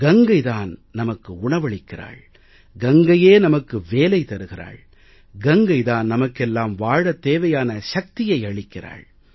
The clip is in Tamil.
கங்கைதான் நமக்கு உணவளிக்கிறாள் கங்கையே நமக்கு வேலை தருகிறாள் கங்கைதான் நமக்கெல்லாம் வாழத் தேவையான சக்தியை அளிக்கிறாள்